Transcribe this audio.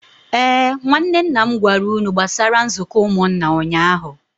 Ee, nwanne nna m gwara unu gbasara nzuko umunna ụnyahụ